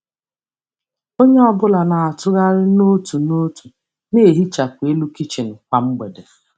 Onye ọ bụla na-atụgharị n'otu n'otu na-ehichapụ elu kichin kwa mgbede.